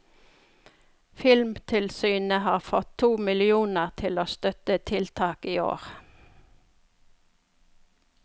Filmtilsynet har fått to millioner til å støtte tiltak i år.